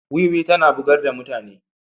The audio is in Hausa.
Wuwi tana bugar da mutane.